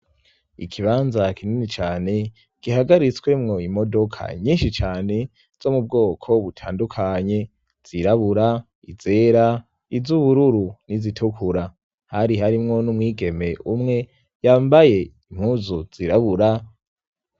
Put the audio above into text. Ikibanza kinini cane gihagaritswemo imodoka nyinshi cyane zo mu bwoko butandukanye, zirabura , izera, iz'ubururu, n'izitukura. Hari harimwo n'umwigeme umwe yambaye impuzu zirabura.